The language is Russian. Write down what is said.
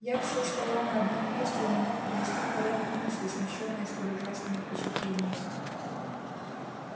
я все стоял на одном месте и не мог привести в порядок мысли смущённые столь ужасными впечатлениями